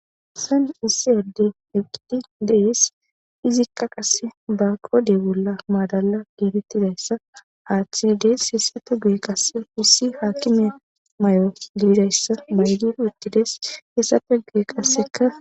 Hessanni issi adeyi eqiddi de'es .izzikka qase qodhdhe bolla madala getettizayissa aththidi dees.hessappe guye qase issi akime mayo dizayissa mayidi uttides .izappe guye qasekka